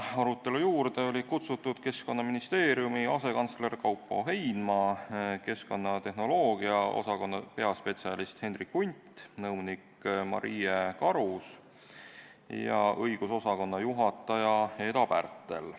Arutelule oli kutsutud Keskkonnaministeeriumi asekantsler Kaupo Heinma, keskkonnatehnoloogia osakonna peaspetsialist Hendrik Hundt ja nõunik Maria Karus ning õigusosakonna juhataja Eda Pärtel.